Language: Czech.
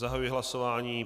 Zahajuji hlasování.